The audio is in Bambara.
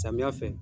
Samiya fɛ